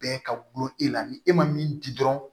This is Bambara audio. Bɛɛ ka gulon e la ni e ma min di dɔrɔn